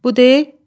Bu deyil?